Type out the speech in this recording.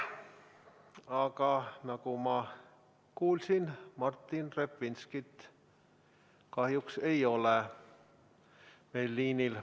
Aga nagu ma kuulsin, Martin Repinski kahjuks ei ole meil liinil.